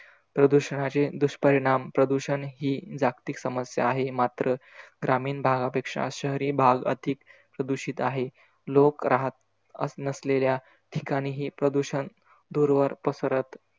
प्रदूषणाचे दुष्परिणाम- प्रदूषण ही जागतिक समस्या आहे मात्र ग्रामीण भागापेक्षा शहरी भाग अधिक प्रदूषित आहे. लोक राहत अस नसलेल्या ठिकाणी ही प्रदूषण दूरवर पसरत,